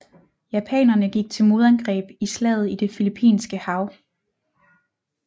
Japanerne gik til modangreb i Slaget i det Filippinske hav